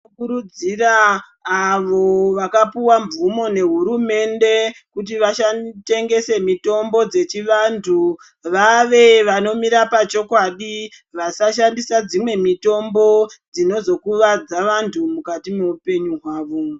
Tinokurudzira avo vakapiwa mvumo nehurumende kuti vatengese mitombo dzechivantu vaave vanomira pachokwadi vasashandisa dzimwe mitombo dzinozo kuvadza vantu mukati mweupenyu wavo.